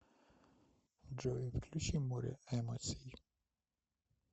джой включи море эмоций